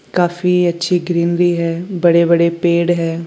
काफी अच्छी ग्रीनरी भी है बड़े बड़े पेड़ हैं।